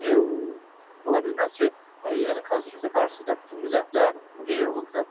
çünki ola bilməz ki, yəni konstitusiya qarşısında bütün millətlər eyni hüquqludurlar,